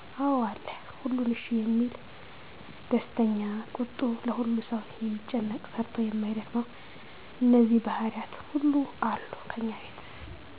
አዎ አለ። ሁሉን እሽ የሚል፤ ደስተኛ፤ ቁጡ፤ ለሁሉ ሠው የሚጨነቅ፤ ሰርቶ የማይደክመው እነዚህ ባህሪያት ሁሉ አሉ ከኛ ቤት።